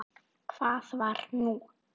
Hvað var nú?